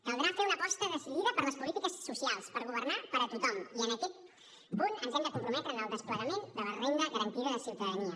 caldrà fer una aposta decidida per les polítiques socials per governar per a tothom i en aquest punt ens hem de comprometre en el desplegament de la renda garantida de ciutadania